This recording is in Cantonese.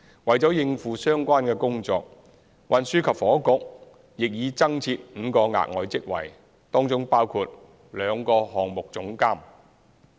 為應付相關工作，運輸及房屋局亦已增設5個額外職位，當中包括兩個項目總監。